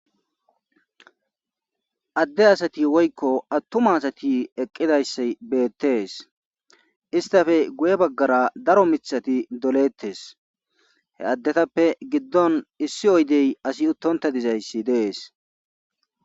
adde asati woykko attuma asati eqqidayssa beettees istafe guye baggara daro mithati doleettes he addetappe giddon issi oydey asi uttonta dizayssi dees